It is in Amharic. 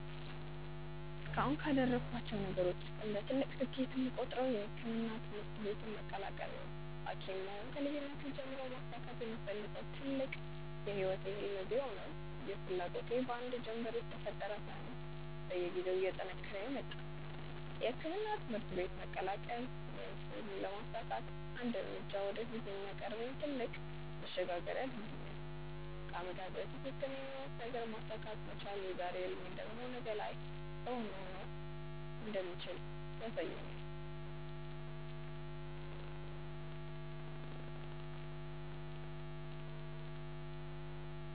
እስካሁንም ካደረኳቸው ነገሮች ውስጥ እንደ ትልቅ ስኬት የምቆጥረው የሕክምና ትምህርት ቤትን መቀላቀሌ ነው። ሀኪም መሆን ከልጅነቴ ጀምሮ ማሳካት የምፈልገው ትልቅ የህይወቴ ህልም ቢሆንም ይህ ፍላጎቴ በአንድ ጀንበር የተፈጠረ ሳይሆን በየጊዜው እየጠነከረ የመጣ ነው። የሕክምና ትምህርት ቤትን መቀላቀል ይህን ህልም ለማሳካት አንድ እርምጃ ወደፊት የሚያቀርበኝ ትልቅ መሸጋገሪያ ድልድይ ነው። ከአመታት በፊት የተመኘሁትን ነገር ማሳካት መቻል የዛሬ ህልሜ ደግሞ ነገ ላይ እውን መሆን እንደሚችል ያሳየኛል።